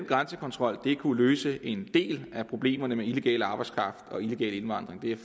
grænsekontrol kunne løse en del af problemerne med illegal arbejdskraft og illegal indvandring det er